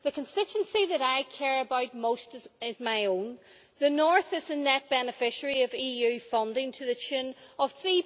The constituency that I care about most is my own the north is a net beneficiary of EU funding to the tune of EUR